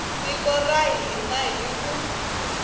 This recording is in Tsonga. tiko ra hina hi ku